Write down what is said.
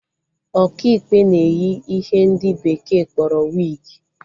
Ọkaikpe na-eyi ihe ndị bekee kpọrọ wigi